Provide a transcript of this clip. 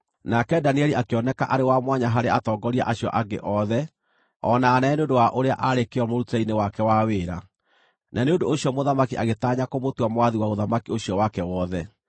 Nake Danieli akĩoneka arĩ wa mwanya harĩ atongoria acio angĩ othe o na anene nĩ ũndũ wa ũrĩa aarĩ kĩyo mũrutĩre-inĩ wake wa wĩra, na nĩ ũndũ ũcio mũthamaki agĩtanya kũmũtua mwathi wa ũthamaki ũcio wake wothe.